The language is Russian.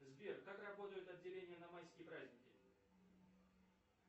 сбер как работают отделения на майские праздники